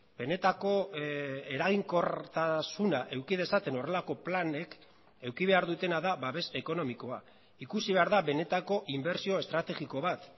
benetako eraginkortasuna eduki dezaten horrelako planek eduki behar dutena da babes ekonomikoa ikusi behar da benetako inbertsio estrategiko bat